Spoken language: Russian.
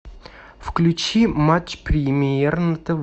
включи матч премьер на тв